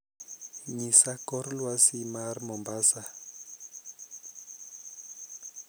ng'isa kor lwasi mar mombasa